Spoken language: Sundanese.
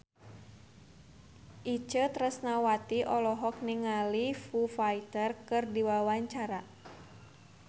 Itje Tresnawati olohok ningali Foo Fighter keur diwawancara